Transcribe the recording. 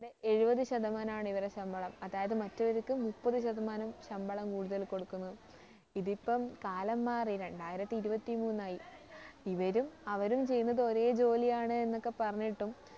എഴുപത് ശതമാനമാണ് ഇവരുടെ ശമ്പളം അതായത് മറ്റവർക്ക് മുപ്പത് ശതമാനം ശമ്പളം കൂടുതൽ കൊടുക്കുന്നു ഇതിപ്പം കാലം മാറി രണ്ടായിരത്തി ഇരുപത്തിമൂന്ന് ആയി ഇവരും അവരും ചെയ്യുന്നത് ഒരേ ജോലിയാണ് എന്നൊക്കെ പറഞ്ഞിട്ടും